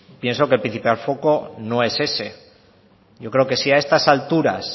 pienso que el principal foco no es ese yo creo que si a estas alturas